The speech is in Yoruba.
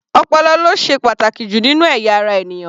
Ọpọlọ ló ṣe pàtàkì jù nínú ẹ̀yà ara ènìyàn.